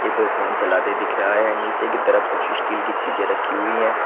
ये तो फोन चलाते दिख रहा है नीचे की तरफ कुछ स्टील की चीजें रखी हुई हैं।